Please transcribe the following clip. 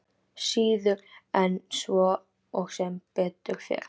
Síður en svo og sem betur fer.